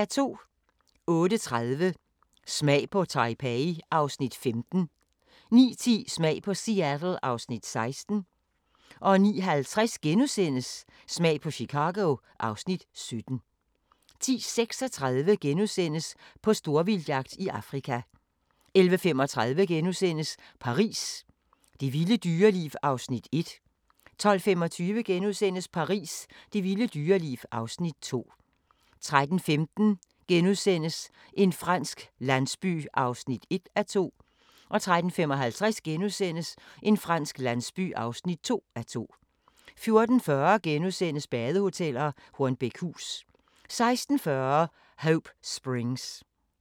08:30: Smag på Taipei (Afs. 15) 09:10: Smag på Seattle (Afs. 16) 09:50: Smag på Chicago (Afs. 17)* 10:35: På storvildtsjagt i Afrika * 11:35: Paris – det vilde dyreliv (Afs. 1)* 12:25: Paris – det vilde dyreliv (Afs. 2)* 13:15: En fransk landsby (1:2)* 13:55: En fransk landsby (2:2)* 14:40: Badehoteller - Hornbækhus * 16:40: Hope Springs